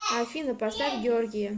афина поставь гиоргия